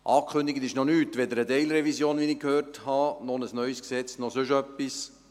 Angekündigt ist noch nichts, weder eine Teilrevision, wie ich gehört habe, noch ein neues Gesetz, noch sonst etwas.